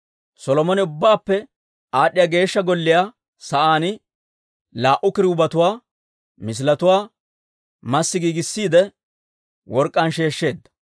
Solomone Ubbaappe Aad'd'iyaa Geeshsha Sa'aan laa"u kiruubetuwaa misiletuwaa massi giigissiide, work'k'aan sheeshsheedda.